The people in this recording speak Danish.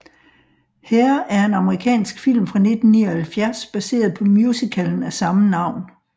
Hair er en amerikansk film fra 1979 baseret på musicalen af samme navn